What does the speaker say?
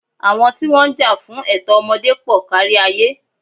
Àwọn tí wọ́n ń jà fún ẹ̀tọ́ ọmọdé pọl kárí ayé.